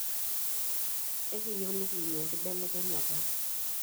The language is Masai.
Ekiiyie nikiimie enkibelekenyata.